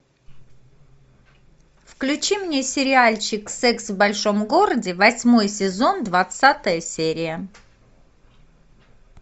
включи мне сериальчик секс в большом городе восьмой сезон двадцатая серия